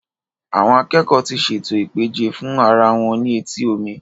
Àwọn akẹ́kọ́ọ̀ ti ṣètò ìpèjẹ fún ara wọn ní etí omi.